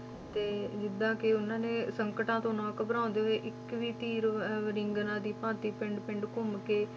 ਤੇ ਜਿੱਦਾਂ ਕਿ ਉਹਨਾਂ ਨੇ ਸੰਕਟਾਂ ਤੋਂ ਨਾ ਘਬਰਾਉਂਦੇ ਹੋਏ, ਇੱਕ ਵੀ ਤੀਰ ਅਹ ਰਿੰਗਣਾਂ ਦੀ ਭਾਂਤੀ ਪਿੰਡ ਪਿੰਡ ਘੁੰਮ ਕੇ